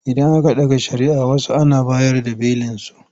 Idan aka ɗaga shari'ah wasu Ana bayar da belinsu.